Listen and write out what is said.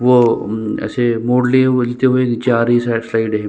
वो ऐसे मोड़ लिए हुए नीचे गिरते हुए आ रही साइड साइड है ।